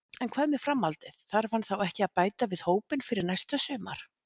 En hvað með framhaldið, þarf hann þá ekki að bæta við hópinn fyrir næsta sumar?